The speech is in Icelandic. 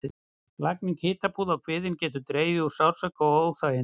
Lagning hitapúða á kviðinn getur dregið úr sársauka og óþægindum.